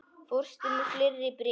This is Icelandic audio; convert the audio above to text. Fórstu með fleiri bréf?